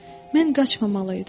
Mən qaçmamalı idim.